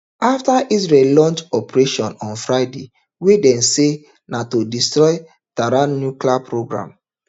afta israel launch operation on friday wey dem say na to destroy tehran nuclear programme